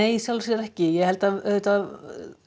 í sjálfu sér ekki ég held að auðvitað